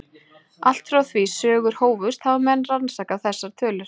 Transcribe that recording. Allt frá því sögur hófust hafa menn rannsakað þessar tölur.